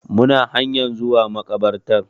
Muna hanyan zuwa makabartar